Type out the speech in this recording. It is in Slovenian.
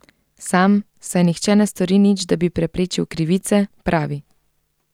Sam, saj nihče ne stori nič, da bi preprečil krivice, pravi.